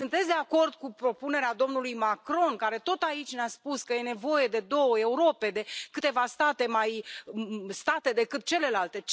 Sunteți de acord cu propunerea domnului Macron care, tot aici, ne a spus că e nevoie de două Europe, de câteva state mai state decât celelalte?